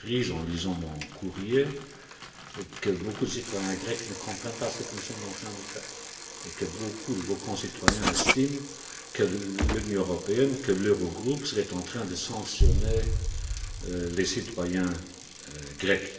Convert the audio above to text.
en lisant mon courrier, que beaucoup de citoyens grecs ne comprennent pas ce que nous sommes en train de faire et que beaucoup de vos concitoyens estiment que l'Union européenne, que l'Eurogroupe sont en train de sanctionner les citoyens grecs.